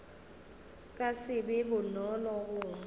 ka se be bonolo go